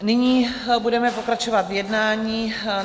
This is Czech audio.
Nyní budeme pokračovat v jednání.